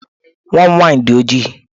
Nwa m nwaanyị dị ojii.